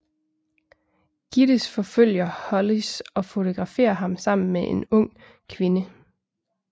Gittes forfølger Hollis og fotograferer ham sammen med en ung kvinde